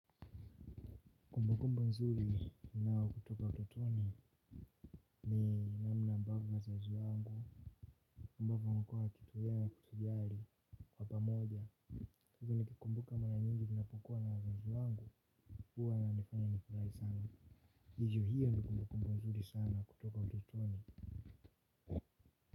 Kumbukumbu nzuri ninayo kutoka utotoni ni namna ambavyo wazazi wangu ambavyo inakua kitu ngani na kutujali kwa pamoja. Hivyo nikikumbuka mara nyingi ninapokua na wazazi wangu huwa wananifanya nifurahi sana. Ni juu hiyo ni kumbukumbu nzuri sana kutoka utotoni.